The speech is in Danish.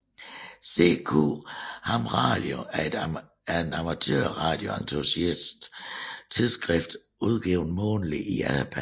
CQ ham radio er et amatørradio entusiast tidsskrift udgivet månedligt i Japan